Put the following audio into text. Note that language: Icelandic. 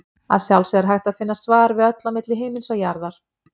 Að sjálfsögðu er hægt að finna svar við öllu á milli himins og jarðar.